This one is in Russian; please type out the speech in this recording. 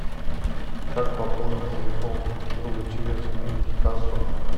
как пополнить телефон друга через мультикассу